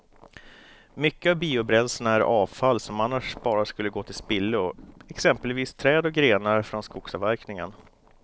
Mycket av biobränslena är avfall som annars bara skulle gå till spillo, exempelvis träd och grenar från skogsavverkningen.